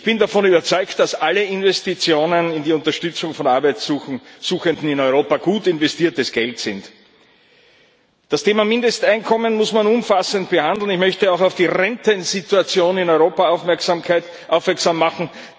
Ich bin davon überzeugt, dass alle Investitionen in die Unterstützung von Arbeitsuchenden in Europa gut investiertes Geld sind. Das Thema Mindesteinkommen muss man umfassend behandeln. Ich möchte auch auf die Rentensituation in Europa aufmerksam machen.